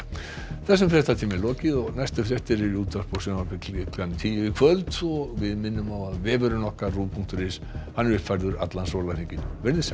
þessum fréttatíma er lokið næstu fréttir í útvarpi og sjónvarpi klukkan tíu í kvöld og við minnum á að vefurinn ruv punktur is er uppfærður allan sólarhringinn verið þið sæl